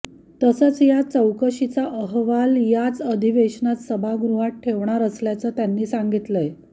तसंच या चौकशीचा अहवाल याच अधिवेशनात सभागृहात ठेवणार असल्याचं त्यांनी सांगितलंय